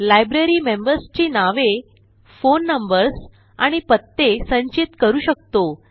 library members ची नावे phone numbers आणि पत्ते संचित करू शकतो